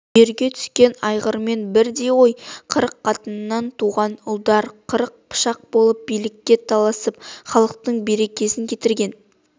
үйірге түскен айғырмен бірдей ғой қырық қатыннан туған ұлдар қырық пышақ боп билікке таласып халықтың берекесін кетірген